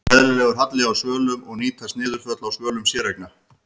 Er eðlilegur halli á svölum og nýtast niðurföll á svölum séreigna?